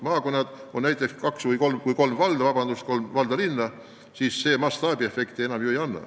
Maakonnas on kaks või kolm valda-linna ja see mastaabiefekti enam ei anna.